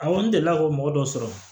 A kɔni delila k'o mɔgɔ dɔ sɔrɔ